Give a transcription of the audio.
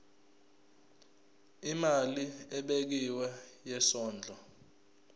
imali ebekiwe yesondlo